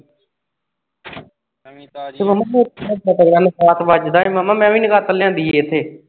ਓਹ ਮਾਮਾ ਮੈਂ ਵੀ ਨਹੀ ਲਿਆਂਦੀ ਇਥੇ।